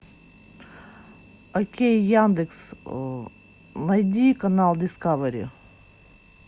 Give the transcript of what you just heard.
окей яндекс найди канал дискавери